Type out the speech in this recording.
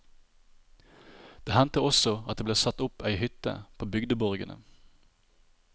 Det hendte også at det ble satt opp ei hytte på bygdeborgene.